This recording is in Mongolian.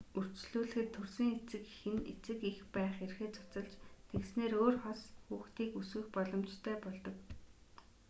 үрчлүүлэхэд төрсөн эцэг эх нь эцэг эх байх эрхээ цуцалж тэгснээр өөр хос хүүхдийг өсгөх боломжтой болдог